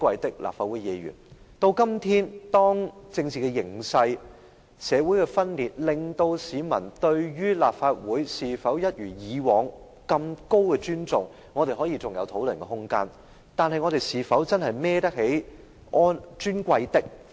到了今天，由於政治形勢、社會分裂，市民對立法會是否仍一如以往般有極高的尊重，尚有可作討論的空間，但我們是否真能堪當這個"尊貴的"的稱呼呢？